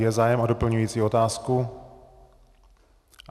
Je zájem o doplňující otázku?